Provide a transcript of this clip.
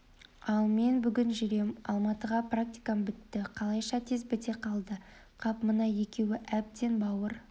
ал мен бүгін жүрем алматыға практикам бітті қалайша тез біте қалды қап мына екеуі әбден бауыр